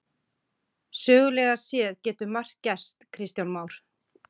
Sögulega séð getur margt gerst Kristján Már?